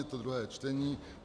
Je to druhé čtení.